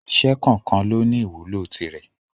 Iṣẹ́ kọ̀ọ̀kan lóní ìwúlò tirẹ̀.